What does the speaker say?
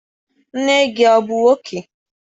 Nne gị abụ nwoke?